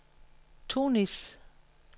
Tunis